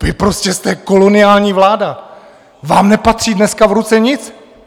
Vy prostě jste koloniální vláda, vám nepatří dneska v ruce nic.